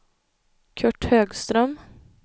Kurt Högström